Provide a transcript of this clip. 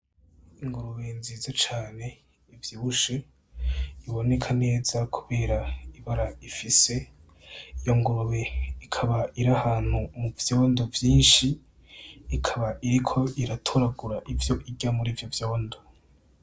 Ingurube nziza cane ivyibushe, iboneka neza kubera ibara ifise. Iyo ngurube ikaba iri ahantu mu vyondo vyinshi, ikaba iriko iratoragura ivyo irya muri ivyo vyondo.